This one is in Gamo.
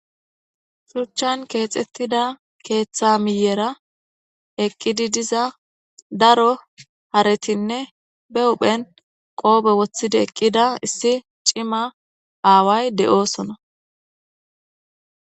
Shuchan kexetida ketha miyera eqidi diza daro haretine be huphen qobe wotidi eqida issi c'ima away de'osona.